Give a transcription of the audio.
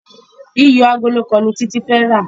iyọ Àgòló kán ní Titi fè rá.